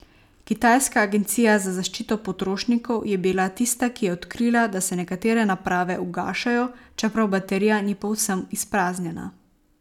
Kitajska agencija za zaščito potrošnikov je bila tista, ki je odkrila, da se nekatere naprave ugašajo, čeprav baterija ni povsem izpraznjena.